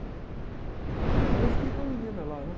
Aí eu fiquei com a menina lá, né?